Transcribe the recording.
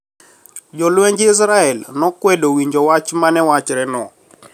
Jolwenj Israel nokwedo winjo wach ma ne wachre no